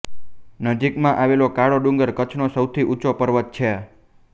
નજીકમાં આવેલો કાળો ડુંગર કચ્છનો સૌથી ઊંચો પર્વત છે